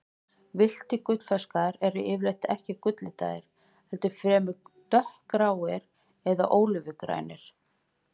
Villtir gullfiskar eru yfirleitt ekki gulllitaðir, heldur fremur dökkgráir eða ólífugrænir.